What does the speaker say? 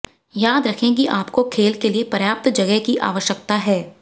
याद रखें कि आपको खेल के लिए पर्याप्त जगह की आवश्यकता है